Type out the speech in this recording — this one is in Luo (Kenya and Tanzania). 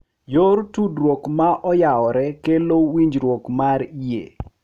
Yor tudruok ma oyawore kelo winjruok mar yie,